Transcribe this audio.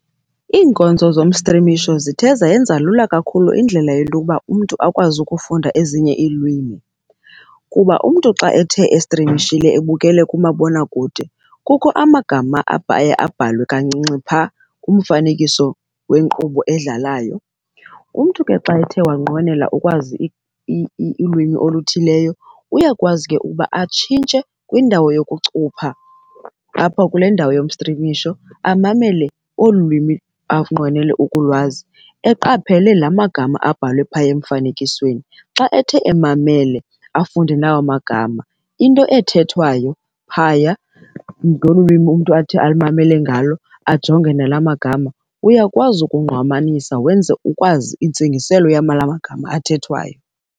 Iinkonzo zomstrimisho zithe zayenza lula kakhulu indlela yento yoba umntu akwazi ukufunda ezinye iilwimi kuba umntu xa ethe estrimishile ebukele kumabonakude kukho amagama aye abhalwe kancinci pha kumfanekiso wenkqubo edlalayo. Umntu ke xa ethe wanqwenela ukwazi ilwimi oluthileyo uyakwazi ke ukuba atshintshe kwindawo yokucupha apho kule ndawo yomstrimisho amamele olu lwimi anqwenele ukulwazi, eqaphele la magama abhalwe phaya emfanekisweni. Xa ethe emamele afunde nawo magama into ethethwayo phaya ngolu lwimi umntu athi amamele ngalo ajonge nala magama, uyakwazi ukungqamanisa wenze ukwazi intsingiselo magama athethwayo.